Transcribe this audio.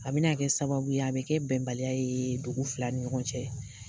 A bɛna kɛ sababu ye, a bɛ kɛ bɛnbaliya ye dugu fila ni ɲɔgɔn cɛ.